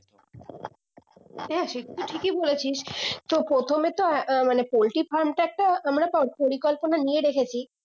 হ্যাঁ সেটা তো ঠিকই বলে ছিস তো প্রথমে তো আহ মানে পোল্ট্রি farm টা তো আহ মানে পরিকল্পনা নিয়ে রেখেছি